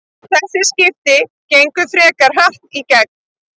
Þessi skipti gengu frekar hratt í gegn.